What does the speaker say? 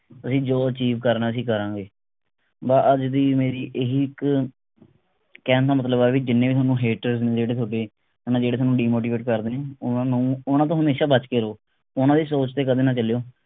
ਅਸੀਂ ਜੋ achieve ਕਰਨੇ ਅਸੀਂ ਕਰਾਂਗੇ ਬੱਸ ਅੱਜ ਦੀ ਮੇਰੀ ਇਹੀ ਇਕ ਕਹਿਣ ਦਾ ਮਤਲਬ ਆ ਵੀ ਜਿੰਨੇ ਵੀ ਥੋਨੂੰ hater ਜਿਹੜੇ ਥੋਡੇ ਮਤਲਬ ਜਿਹੜੇ ਥੋਨੂੰ demotivate ਕਰਦੇ ਨੇ ਓਹਨਾ ਨੂੰ ਉਹਨਾਂ ਤੋਂ ਹਮੇਸ਼ਾ ਬਚ ਕੇ ਰਹਿਓ ਉਹਨਾਂ ਦੀ ਸੋਚ ਤੇ ਕਦੇ ਨਾ ਚਲਿਓ